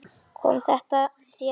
Kom þetta þér á óvart?